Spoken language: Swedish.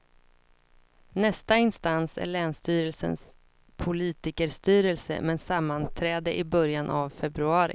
Nästa instans är länsstyrelsens politikerstyrelse med sammanträde i början av februari.